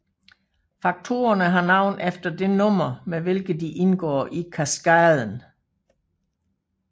Faktorerne har navn efter det nummer med hvilket de indgår i kaskaden